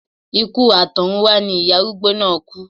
Ikú àtọ̀runwá ni ìyá arúgbó náà kú